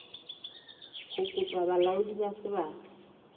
ho kopa bolaodi ba sebaka